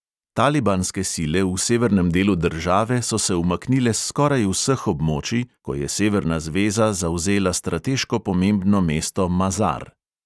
Talibanske sile v severnem delu države so se umaknile s skoraj vseh območij, ko je severna zveza zavzela strateško pomembno mesto mazar.